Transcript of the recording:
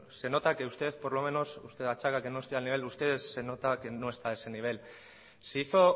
se nota que usted por lo menos que no estoy al nivel de ustedes se nota que no está a ese nivel se hizo